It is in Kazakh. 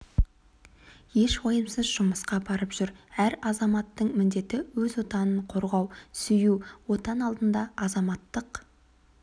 еш уайымсыз жұмысқа барып жүр әр азаматтың міндеті өз отанын қорғау сүю отан алдында азаматтық